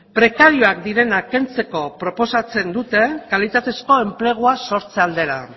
prekarioak direnak kentzeko proposatzen dute kalitatezko enplegua sortze aldera